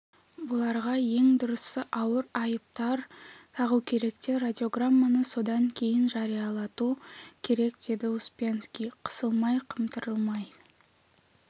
бұларға ең дұрысы ауыр айыптар тағу керек те радиограмманы содан кейін жариялату керек деді успенский қысылмай-қымтырылмай